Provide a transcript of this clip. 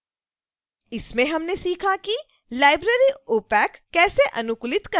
इसमें हमने सीखा कि library opac कैसे अनुकूलित करना है और